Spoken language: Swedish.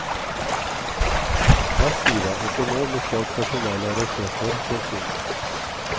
Massiva ekonomiska och personella resurser sätts in.